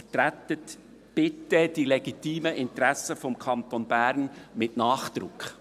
Vertreten Sie bitte die legitimen Interessen des Kantons Bern mit Nachdruck!»